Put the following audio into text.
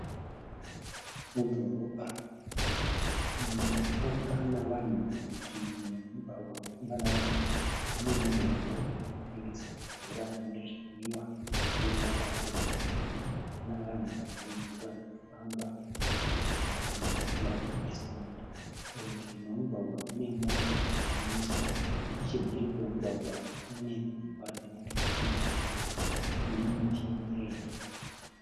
Mudhorobha munofamba navanhu . Murutivi memugwagwa munofamba navanhu mune ngoro yekutengesa mvura nezvinwiwa ,ine ruvara rwe bhuruu. Muna vanhu vazhinji varikufamba mu pavement muna ma slab e simendi. Murutivi memugwagwa mune mota dzakamiswa. Nechemhiri kwemugwagwa kunedzimba dzemuturikidzanwa nemiti mirefu.